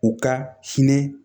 U ka hinɛ